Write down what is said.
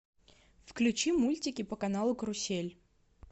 включи мультики по каналу карусель